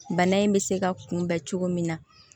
Bana in bɛ se ka kunbɛn cogo min na